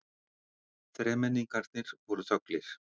Þremenningarnir voru þöglir.